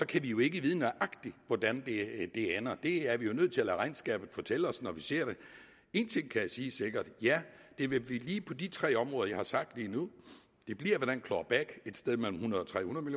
kan vi jo ikke vide nøjagtigt hvordan det ender det er vi jo nødt til at lade regnskabet fortælle os når vi ser det en ting kan jeg sige sikkert ja det vil blive lige på de tre områder jeg har sagt lige nu det bliver med den claw back et sted mellem hundrede og tre hundrede